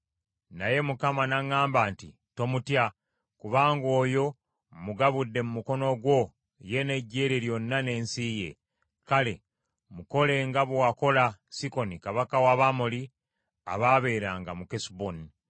Naye Mukama n’aŋŋamba nti, “Tomutya, kubanga oyo mmugabudde mu mukono gwo ye n’eggye lye lyonna n’ensi ye. Kale, mukole nga bwe wakola Sikoni Kabaka w’Abamoli abaabeeranga mu Kesuboni.”